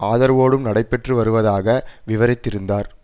ஆதரவோடும் நடைபெற்று வருவதாக விவரித்திருந்தார்